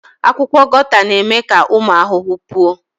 Akwụkwọ Guata na-eme ka ụmụ ahụhụ pụọ